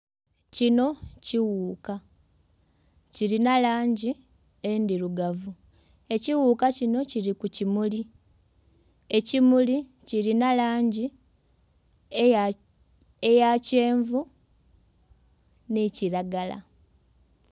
Kino kiwuuka kilina langi endhirugavu. Ekiwuuka kino kili ku kimuli. Ekimuli kilina langi eya...eya kyenvu nhi kilagala.